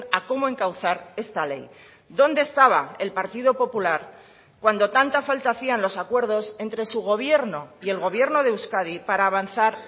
a cómo encauzar esta ley dónde estaba el partido popular cuando tanta falta hacían los acuerdos entre su gobierno y el gobierno de euskadi para avanzar